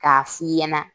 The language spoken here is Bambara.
K'a f'i ɲɛna